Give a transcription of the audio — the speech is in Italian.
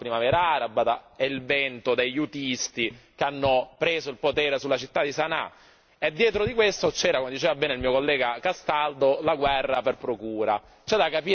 In mezzo sono passati la Primavera araba e il vento degli houtisti che hanno preso il potere sulla città di Sana'a e dietro di questo c'era, come diceva bene il mio collega Castaldo, la guerra per procura.